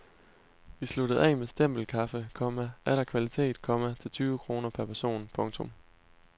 Vi sluttede af med stempelkaffe, komma atter kvalitet, komma til tyve kroner per person. punktum